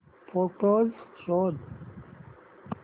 photos शोध